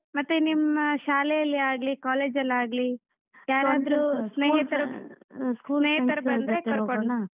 ಮತ್ತೆ ಮತ್ತೆ ನಿಮ್ ಶಾಲೆ ಅಲ್ಲಿ ಆಗ್ಲಿ, college ಅಲ್ ಆಗ್ಲಿ .